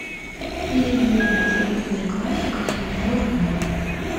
пельмени цезарь классика семьсот грамм